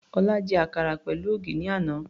Ọlá jẹ àkàrà pẹ̀lú ògì ní àná.